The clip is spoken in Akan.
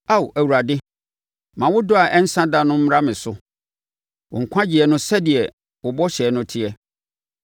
Ao Awurade, ma wo dɔ a ɛnsa da no mmra me so, wo nkwagyeɛ no sɛdeɛ wo bɔhyɛ no teɛ.